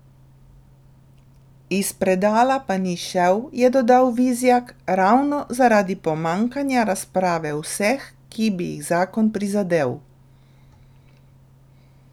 Iz predala pa ni šel, je dodal Vizjak, ravno zaradi pomanjkanja razprave vseh, ki bi jih zakon prizadel.